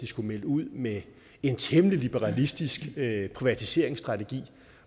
skulle melde ud med en temmelig liberalistisk privatiseringsstrategi